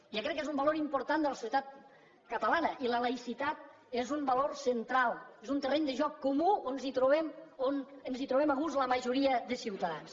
jo crec que és un valor important de la societat catalana i la laïcitat és un valor central és un terreny de joc comú on ens trobem a gust la majoria de ciutadans